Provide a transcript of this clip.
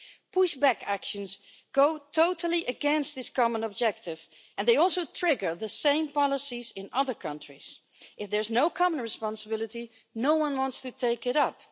Pushback actions go totally against this common objective and they also trigger the same policies in other countries. If there's no common responsibility, no one wants to take it up.